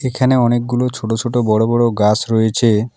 এখানে অনেকগুলো ছোট ছোট বড় বড় গাছ রয়েছে।